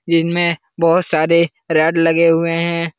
जिनमें बहोत सारे रेड लगे हुए हैं।